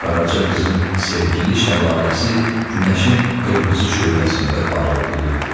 Qaraca qızın sevgili şəlaləsi günəşin qırmızı şöləsində parıldayırdı.